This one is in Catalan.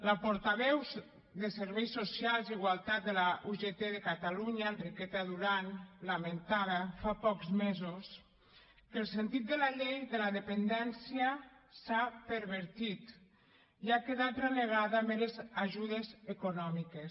la portaveu de serveis socials i igualtat de la ugt de catalunya enriqueta durán lamentava fa pocs mesos que el sentit de la llei de la dependència s’ha pervertit i ha quedat relegada a meres ajudes econòmiques